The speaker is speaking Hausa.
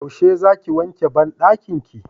yaushe za ki wanke banɗakin ki?